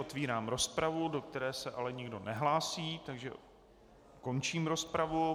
Otevírám rozpravu, do které se ale nikdo nehlásí, takže končím rozpravu.